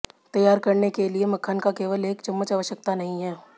तैयार करने के लिए मक्खन का केवल एक चम्मच आवश्यकता नहीं है